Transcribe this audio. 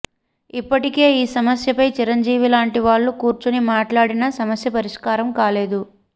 ఇప్పటికే ఈ సమస్యపై చిరంజీవి లాంటి వాళ్లు కూర్చుని మాట్లాడినా సమస్య పరిష్కారం కాలేదు